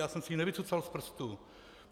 Já jsem si ji nevycucal z prstu.